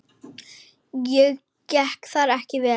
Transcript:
Og gekk það ekki vel.